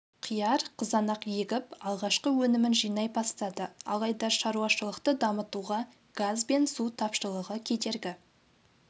қияр қызанақ егіп алғашқы өнімін жинай бастады алайда шаруашылықты дамытуға газ бен су тапшылығы кедергі